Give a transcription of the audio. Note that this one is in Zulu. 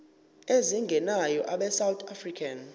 ezingenayo abesouth african